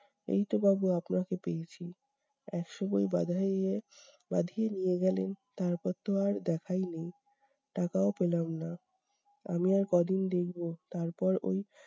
এইতো বাবু আপনাকে পেয়েছি, একশো বই বাঁধাইয়ের বাঁধিয়ে নিয়ে গেলেন তারপর তো আর দেখাই নেই! টাকাও পেলাম না. আমি আর কদিন দেখব তারপর ওই